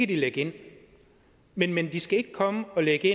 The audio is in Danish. de lægge ind men men de skal ikke komme og lægge